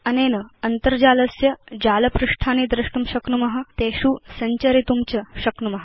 अनेन अन्तर्जालस्य जालपृष्ठानि द्रष्टुं शक्नुम तेषु सञ्चरितुं च शक्नुम